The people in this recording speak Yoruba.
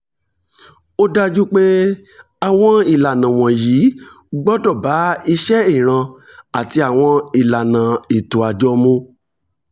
ó dájú pé àwọn ìlànà wọ̀nyí gbọ́dọ̀ bá iṣẹ́ ìran àti àwọn ìlànà ètò àjọ mu